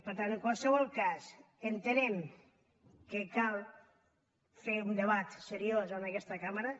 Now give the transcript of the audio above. per tant en qualsevol cas entenem que cal fer un debat seriós en aquesta cambra